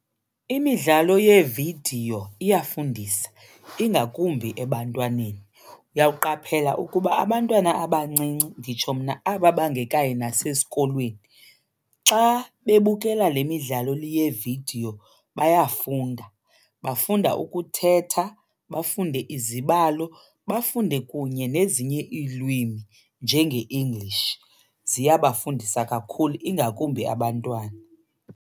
Imidlalo yeevidiyo iyafundisa, ingakumbi ebantwaneni. Uyakuqaphela ukuba abantwana abancinci nditsho mna aba bangekayi nasesikolweni, xa bebukela le midlalo yeevidiyo bayafunda. Bafunda ukuthetha, bafunde izibalo, bafunde kunye nezinye iilwimi njenge-English. Ziyabafundisa kakhulu, ingakumbi abantwana.